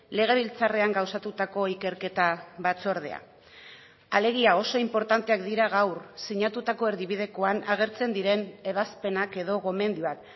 legebiltzarrean gauzatutako ikerketa batzordea alegia oso inportanteak dira gaur sinatutako erdibidekoan agertzen diren ebazpenak edo gomendioak